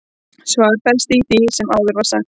svarið felst í því sem áður var sagt